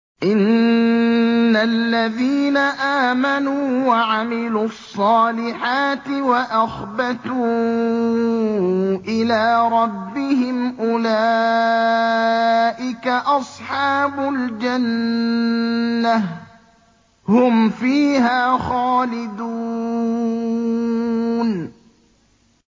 إِنَّ الَّذِينَ آمَنُوا وَعَمِلُوا الصَّالِحَاتِ وَأَخْبَتُوا إِلَىٰ رَبِّهِمْ أُولَٰئِكَ أَصْحَابُ الْجَنَّةِ ۖ هُمْ فِيهَا خَالِدُونَ